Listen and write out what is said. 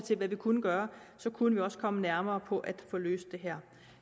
til hvad vi kunne gøre så kunne vi også komme nærmere på at få løst det her